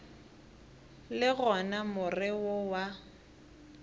le gona more wo wa